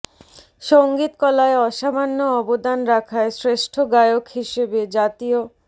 সংগীত কলায় অসামান্য অবদান রাখায় শ্রেষ্ঠ গায়ক হিসেবে জাতীয়